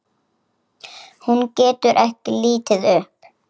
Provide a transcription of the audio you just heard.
Hún getur ekki litið upp.